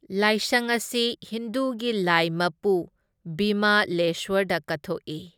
ꯂꯥꯏꯁꯪ ꯑꯁꯤ ꯍꯤꯟꯗꯨꯒꯤ ꯂꯥꯢ ꯃꯄꯨ ꯕꯤꯃꯥꯂꯦꯁꯋꯔꯗ ꯀꯠꯊꯣꯛꯏ꯫